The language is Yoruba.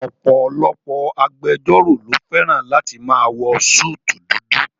Ọ̀pọ̀lọpọ̀ agbẹjọ́rò ló fẹ́ràn láti máa wọ súùtù dudu